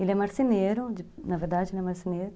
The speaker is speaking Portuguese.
Ele é marceneiro, de, na verdade ele é marceneiro.